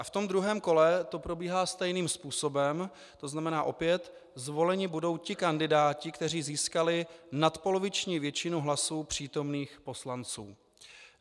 A v tom druhém kole to probíhá stejným způsobem, to znamená opět, zvoleni budou ti kandidáti, kteří získali nadpoloviční většinu hlasů přítomných poslanců.